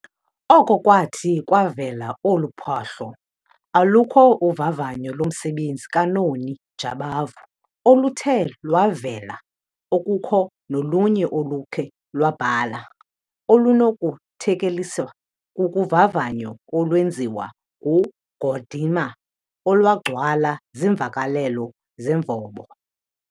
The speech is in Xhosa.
oko kwathi kwavela olu phahlo, alukho uvavanyo lomsebenzi kaNoni Jabavu oluthe lwavela, okukho nolunye olukhe lwabhala olunokuthekeliswa kuvavanyo olwenziwa nguGordimer olwagcwala ziimvakelelo zemvobo.